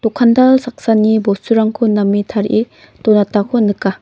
dokandal saksani bosturangko name tarie donatako nika.